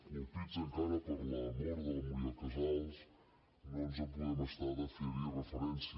colpits encara per la mort de la muriel casals no ens en podem estar de fer hi referència